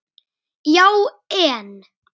Já en.